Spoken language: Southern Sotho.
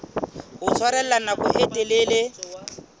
ho tshwarella nako e telele